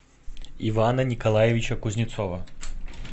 ивана николаевича кузнецова